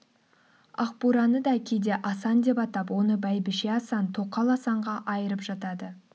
ақбураны да кейде асан деп атап оны бәйбіше асан тоқал асанға айырып жатады